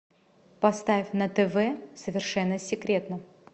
поставь на тв совершенно секретно